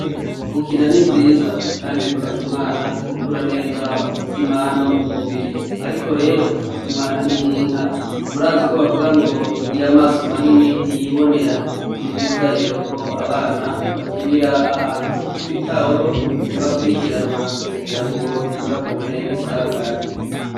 Gukina nivyiza kandi bifasha umwana gukura neza mumutima no mumubiri ariko rero umwana ninkinka murazi ko bavuga ngo igira amaso manini ntiyibonera nivyiza rero ko abana bakinira ahantu hitaweho bakwirikiranwa kugirango ntibahure nisanganya